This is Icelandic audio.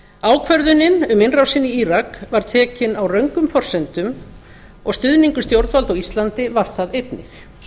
ákvörðunin um innrásina í írak var tekin á röngum forsendum og stuðningur stjórnvalda á íslandi var það einnig